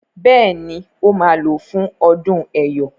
Béèni o má ló fún ọdún eyọ.